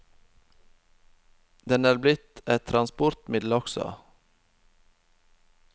Den er blitt et transportmiddel også.